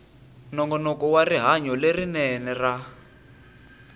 nongonoko wa rihanyo lerinene ra